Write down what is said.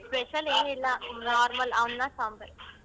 Special ಏನಿಲ್ಲ normal ಅನ್ನ ಸಾಂಬರ್.